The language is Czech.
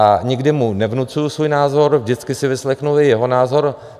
A nikdy mu nevnucuji svůj názor, vždycky si vyslechnu i jeho názor.